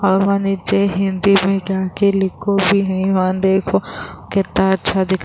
اور وہاں ہندی مے جاکو لکھو بھی ہے۔ وہاں دیکھو کتنا اچھا --